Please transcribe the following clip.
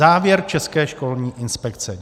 Závěr České školní inspekce.